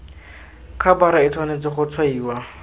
khabara e tshwanetse go tshwaiwa